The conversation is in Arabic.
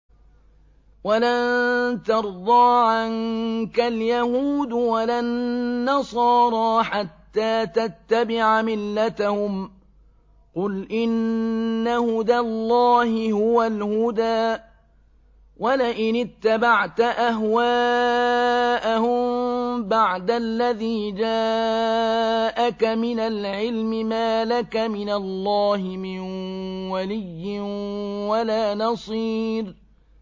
وَلَن تَرْضَىٰ عَنكَ الْيَهُودُ وَلَا النَّصَارَىٰ حَتَّىٰ تَتَّبِعَ مِلَّتَهُمْ ۗ قُلْ إِنَّ هُدَى اللَّهِ هُوَ الْهُدَىٰ ۗ وَلَئِنِ اتَّبَعْتَ أَهْوَاءَهُم بَعْدَ الَّذِي جَاءَكَ مِنَ الْعِلْمِ ۙ مَا لَكَ مِنَ اللَّهِ مِن وَلِيٍّ وَلَا نَصِيرٍ